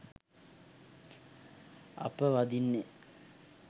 අප වඳින්නේ